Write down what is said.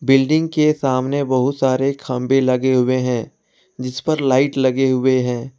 Building के सामने बहुत सारे खंबे लगे हुए हैं जिस पर लाइट लगे हुए हैं।